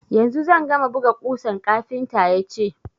Yanzu zan gama buga ƙusan, kafinta ya ce.